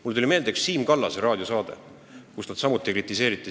Mulle tuli meelde üks raadiosaade, kus samuti seda kritiseeriti.